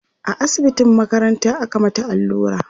a asibitin makaranta aka mata allura